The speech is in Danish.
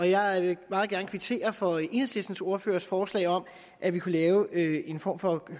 jeg vil meget gerne kvittere for enhedslistens ordførers forslag om at vi kunne lave en form for